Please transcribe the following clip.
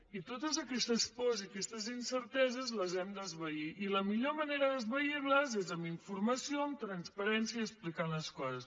i totes aquestes pors i aquestes incerteses les hem d’esvair i la millor manera d’esvair les és amb informació amb transparència i explicant les coses